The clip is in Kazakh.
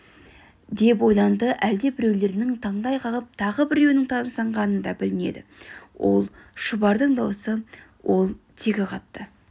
деп ойланды әлдебіреулерінің таңдай қағып тағы біреуінің тамсанғаны да білінеді ол шұбардың даусы ол тегі қатты